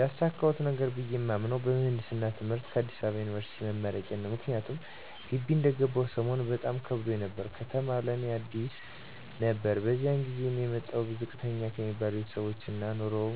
ያሳካሁት ነገር ብየ የማምነው በምህንድስና ትምህርት ከአዲስ አበባ ዩኒበርሲቲ መመረቄ ነው። ምክንያቱም ግቢ እንደገባሁ ሰሞን በጣም ከብዶኝ ነበር፤ ከተማ ለእኔ አዲስ ነበር በዚያ ላይ እኔ የመጣሁት ዝቅተኛ ከሚባሉ ቤተሰቦች ነው እና ኑሮው